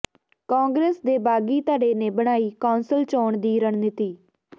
ਕਾਂਗਰਸ ਦੇ ਬਾਗੀ ਧੜੇ ਨੇ ਬਣਾਈ ਕੌਂਸਲ ਚੋਣ ਦੀ ਰਣਨੀਤੀ